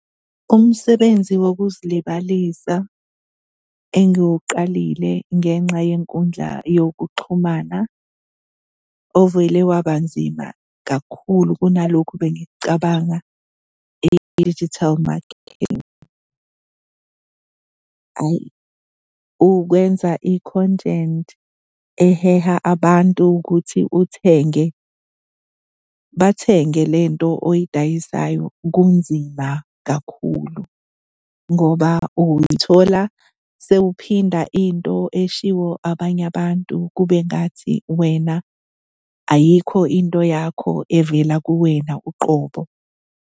Umsebenzi wokuzilibalisa engiwuqalile ngenxa yenkundla yokuxhumana ovele waba nzima kakhulu kunalokhu bengikucabanga, i-digital marketing. Hhayi, ukwenza i-content eheha abantu ukuthi uthenge, bathenge le nto oyidayisayo kunzima kakhulu ngoba uy'thola sewuphinda into eshiwo abanye abantu kube ngathi wena ayikho into yakho evela kuwena uqobo.